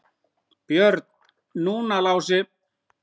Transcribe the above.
Björn, núna Lási.